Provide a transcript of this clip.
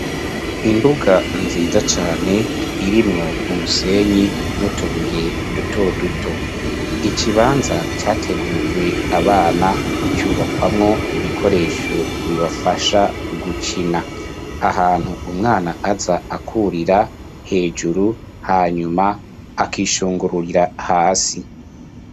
Imbuga nziza cane, irimwo umusenyi, n'utubuye duto duto; ikibanza categuriwe abana, cubakwamwo, ibikoresho, bibafasha gukina; ahantu umwana aza, akurira hejuru, hanyuma akishungururira hasi.